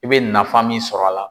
I bɛ nafan min sɔrɔ a la.